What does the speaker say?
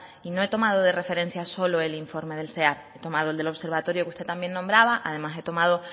y no he tomado de referencia solo el informe del ceaps he tomado el del observatorio que usted también nombraba además he tomado